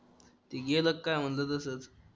ती गेलं का म्हणलं तसंच